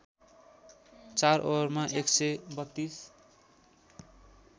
४ ओभरमा १ सय ३२